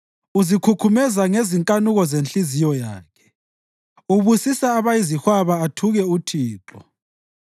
Uzikhukhumeza ngezinkanuko zenhliziyo yakhe; ubusisa abayizihwaba athuke uThixo.